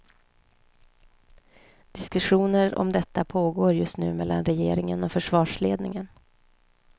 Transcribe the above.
Diskussioner om detta pågår just nu mellan regeringen och försvarsledningen.